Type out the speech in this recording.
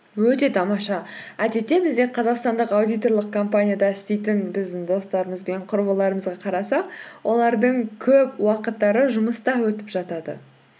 өте тамаша әдетте бізде қазақстандық аудиторлық компанияда істейтін біздің достарымыз бен құрбыларымызға қарасақ олардың көп уақыттары жұмыста өтіп жатады